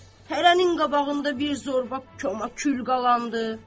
Hərənin qabağında bir zorba kömə kül qalandı.